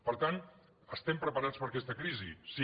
per tant estem preparats per aquesta crisi sí